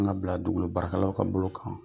An ka bila dugukolo baralaw ka bolo kan.